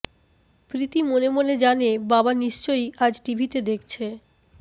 প্রীতি মনে মনে জানে বাবা নিশ্চয়ই আজ টিভিতে দেখছে